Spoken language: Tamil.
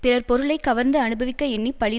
பிறர் பொருளை கவர்ந்து அனுபவிக்க எண்ணி பழி